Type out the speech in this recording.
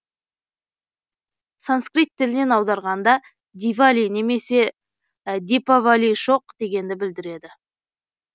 санскрит тілінен аударғанда дивали немесе дипавалишоқ дегенді білдіреді